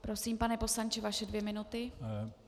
Prosím, pane poslanče, vaše dvě minuty.